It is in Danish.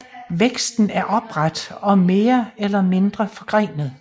Væksten er opret og mere eller mindre forgrenet